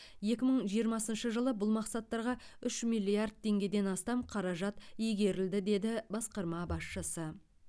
екі мың жиырмасыншы жылы бұл мақсаттарға үш миллиард теңгеден астам қаражат игерілді деді басқарма басшысы